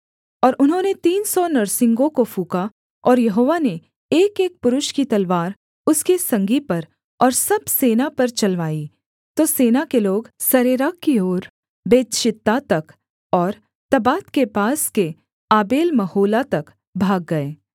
और उन्होंने तीन सौ नरसिंगों को फूँका और यहोवा ने एकएक पुरुष की तलवार उसके संगी पर और सब सेना पर चलवाई तो सेना के लोग सरेरा की ओर बेतशित्ता तक और तब्बात के पास के आबेलमहोला तक भाग गए